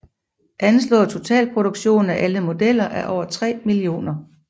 Anslået totalproduktion af alle modeller er over 3 millioner